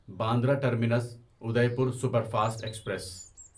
Bandra Terminus Udaipur Superfast express